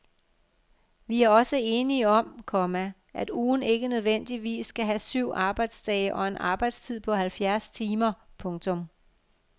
Vi er også enige om, komma at ugen ikke nødvendigvis skal have syv arbejdsdage og en arbejdstid på halvfjerds timer. punktum